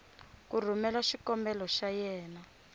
ku rhumela xikombelo xa yena